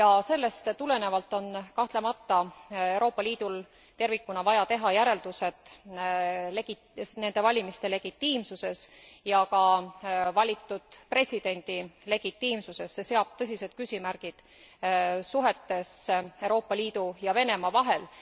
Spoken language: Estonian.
Sellest tulenevalt on kahtlemata Euroopa Liidul tervikuna vaja teha järeldused nende valimiste legitiimsuse ja ka valitud presidendi legitiimsuse kohta. See seab tõsised küsimärgid suhetes Euroopa Liidu ja Venemaa vahel.